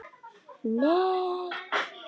ALLIR: Nei!